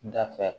Dafɛ